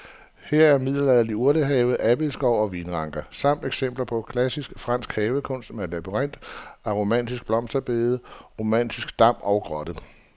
Her er middelalderlig urtehave, abildgård og vinranker samt eksempler på klassisk fransk havekunst med labyrint, aromatiske blomsterbede, romantisk dam og grotte.